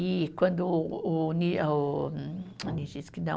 E quando o ni, o, hum, o não